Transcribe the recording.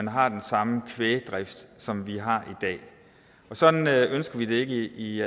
har den samme kvægdrift som vi har i dag sådan ønsker vi det ikke i